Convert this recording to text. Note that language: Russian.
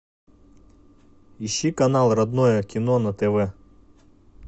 ищи канал родное кино на тв